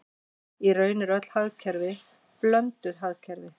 Í raun eru öll hagkerfi blönduð hagkerfi.